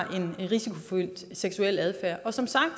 en risikofyldt seksuel adfærd og som sagt